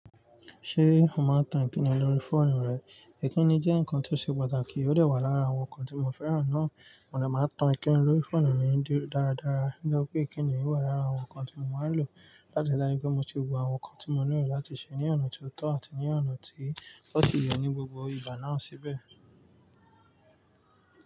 Ṣé o máa ń tan Ìkíni lórí fóònù rẹ? Ìkíni jẹ́ nǹkan tó ṣe pàtàkì, ó dẹ̀ wà lára àwọn nǹkan tí mo fẹ́ràn náà. Mo lè máa tan Ìkíni lórí fóònù mi dáradára, nígbà pé Ìkíni yóò wà lára àwọn nǹkan tí mo máa lò láti dári pé mo ti wo àwọn nǹkan tí mo nílò láti ṣe ní ọ̀nà tó tọ́ àti ní ọ̀nà tí wọ́n ti yẹ ní gbogbo ìbà náà síbẹ̀.